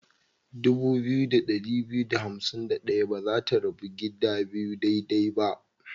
Dubu biyu da ɗari biyu da hansim da ɗaya ba za ta rabu gida biyu daidai ba.